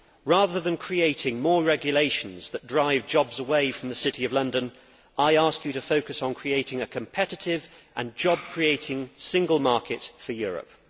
Rather than creating more regulations that drive jobs away from the City of London, I would ask him to focus on creating a competitive and job creating Single Market for Europe.